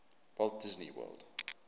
walt disney world